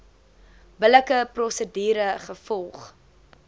billike prosedure gevolg